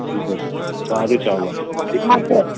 ବାହାରେ ସାରା ଚାଉଳ ଅନୁଛେ